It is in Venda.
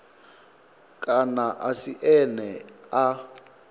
kana a si ene a